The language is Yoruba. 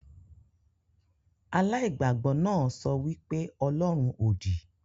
Aláìgbàgbọ náà sọ wí pé ọlọ́run òdì